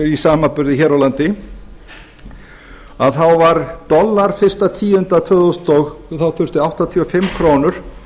í samanburði hér á landi var dollar eitt hundrað og tvö þúsund og þá þurfti áttatíu og fimm krónur